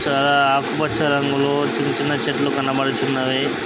చాలా ఆకుపచ్చ రంగులో చిన్న చిన్న చెట్లు కనపడుచున్నవి.